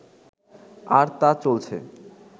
আর তা চলছে